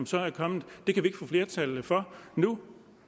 så er kommet det kan vi få flertal for nu